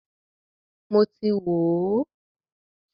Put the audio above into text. Mọ ti wò ó.